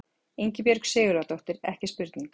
Ingibjörg Sigurðardóttir, ekki spurning!